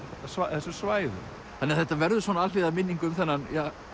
þessu svæði þannig að þetta verður svona alhliða minning um þennan